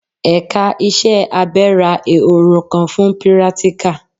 Ẹ̀ka iṣẹ́ abẹ ra Ehoro kan fún pírátíkà.